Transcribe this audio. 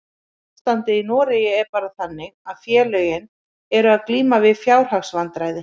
Ástandið í Noregi er bara þannig að félögin eru að glíma við fjárhagsvandræði.